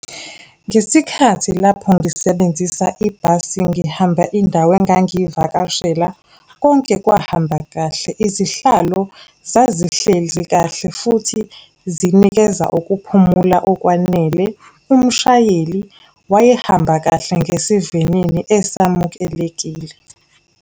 Ngesikhathi lapho ngisebenzisa ibhasi ngihamba indawo engangivakashela, konke kwahamba kahle. Izihlalo zazihlezi kahle, futhi zinikeza ukuphumula okwanele. Umshayeli wayehamba kahle ngesivinini esamukelekile.